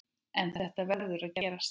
En þetta verður að gerast.